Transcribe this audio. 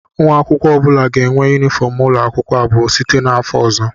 Nwa akwụkwọ ọ bụla ga-enwe yunifọm ụlọ akwụkwọ abụọ site n'afọ ọzọ